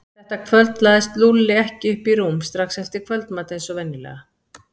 Þetta kvöld lagðist Lúlli ekki upp í rúm strax eftir kvöldmat eins og venjulega.